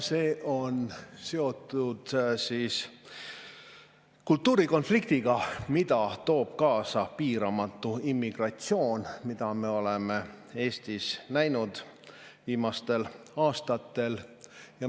See on seotud kultuurikonfliktiga, mille toob kaasa piiramatu immigratsioon, mida me oleme Eestis viimastel aastatel näinud.